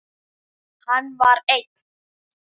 Hann var einn.